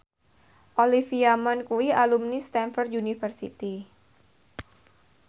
Olivia Munn kuwi alumni Stamford University